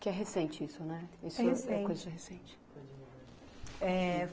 Que é recente isso, né? É recente. É coisa recente. É